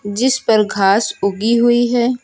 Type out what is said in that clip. जिस पर घास उगी हुई है।